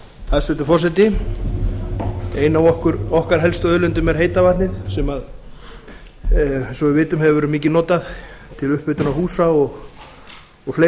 hæstvirtur forseti ein af okkar helstu auðlindum er heita vatnið sem eins og við vitum hefur verið mikið notað til upphitunar húsa og fleiri